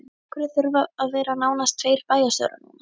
Af hverju þurfa að vera nánast tveir bæjarstjórar núna?